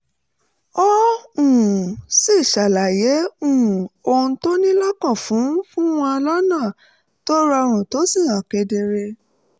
ó um sì ṣàlàyé um ohun tó ní lọ́kàn fún fún wọn lọ́nà tó rọrùn tó sì hàn kedere